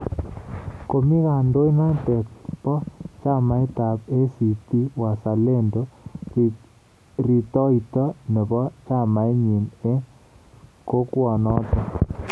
Komii kandoindenoto ba chamait ab ACT-Wazalendo ritoito nebo chamainnyi eng kokwanoto